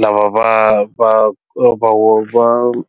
lava va va va va.